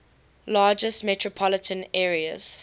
largest metropolitan areas